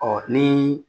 Ɔ ni